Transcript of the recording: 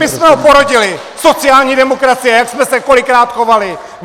My jsme ho porodili, sociální demokracie, jak jsme se kolikrát chovali!